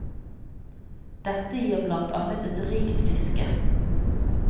Dette gir blant annet et rikt fiske.